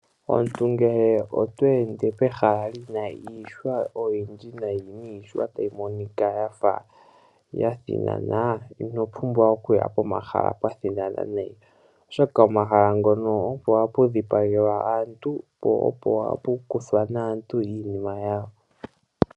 Omuntu ngele oto ende pehala li na iihwa oyindji nayi niihwa tayi monika ya fa ya thinana, ino pumbwa okuya pomahala ga fa ga thinana nayi, oshoka omahala ngono opo hapu dhipagelwa aantu, po opo hapu kwathwa naantu iinima yawo.